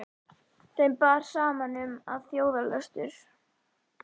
Þeim bar saman um, að þjóðarlöstur